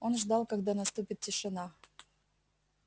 он ждал когда наступит тишина